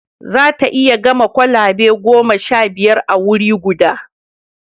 Za ta iya gama kwalabe goma sha biyu a wuri guda